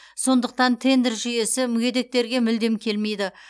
сондықтан тендер жүйесі мүгедектерге мүлдем келмейді